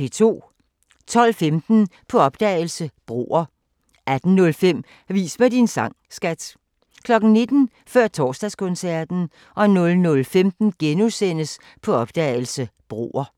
12:15: På opdagelse – Broer 18:05: Vis mig din sang, skat! 19:00: Før Torsdagskoncerten 00:15: På opdagelse – Broer *